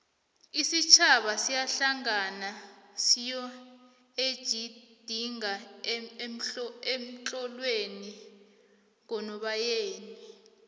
isitjhaba siyahlangana siyoejidinga ehlolweni ngonobayeni